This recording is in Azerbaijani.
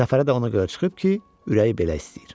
Səfərə də ona görə çıxıb ki, ürəyi belə istəyir.